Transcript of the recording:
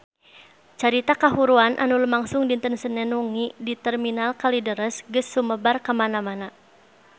Carita kahuruan anu lumangsung dinten Senen wengi di Terminal Kalideres geus sumebar kamana-mana